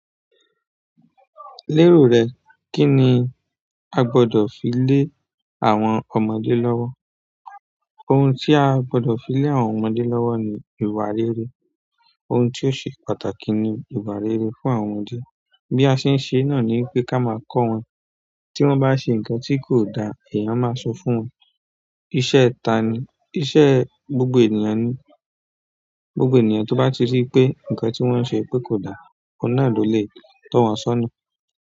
Lero re kini o ro pe a gbodo fi le ọmọdé lowo. Ohun tí a gbọdọ̀ fi lé àwọn ọmọdé lọ́wọ́ ni ìwà rere. Ohun tí ó ṣe pàtàkì ni ìwà rere fún àwọn ọmọdé. Bí a ṣe ń ṣe náà ni pé ká máa kọ́ wọn. Tí wọ́n bá ṣe nǹkan tí kò da, ẹ̀yàn máa sọ fún wọn. Iṣẹ́ ta ni, iṣẹ́ gbogbo ènìyàn ni. Gbogbo ènìyàn tó bá rí pé ǹkan tí wọ́n ń ṣe pé kò da, oun náà ló lè tọ̀ wọn sọ́na.